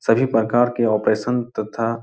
सभी प्रकार के ऑपरेशन तथा --